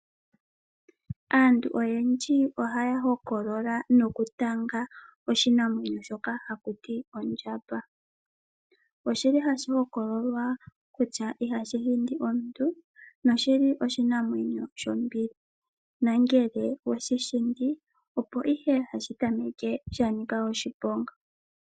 Aantu oyendji haya hokolola nokutala oshinamwenyo shoka haku ti ondjamba. Oshili hashi hokololwa kutya ihashi hindi omuntu noshili oshinamwenyo shombili. Nongele owe shi hindi opo ihe hashi tameke sha nika oshiponga.